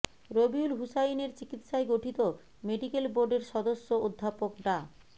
রবিউল হুসাইনের চিকিৎসায় গঠিত মেডিকেল বোর্ডের সদস্য অধ্যাপক ডা